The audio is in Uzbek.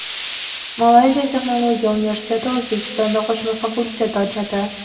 Malayziya Texnologiya universiteti O‘zbekistonda qo‘shma fakultet ochadi.